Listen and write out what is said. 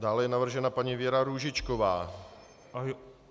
Dále je navržena paní Věra Růžičková.